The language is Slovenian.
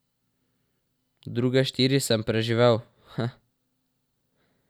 Druge štiri sem preživel, heh.